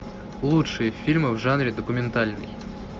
лучшие фильмы в жанре документальный